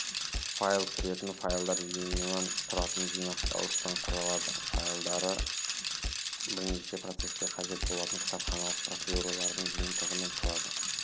файл кіретін файлдар жиынынан тұратын жинақтауыштан құрылады файлдары бірнеше процеске қажет болатын кітапханалық процедуралардың жиынтығынан тұрады